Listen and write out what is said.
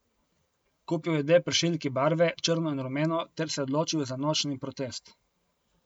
Kupil je dve pršilki barve, črno in rumeno, ter se odločil za nočni protest.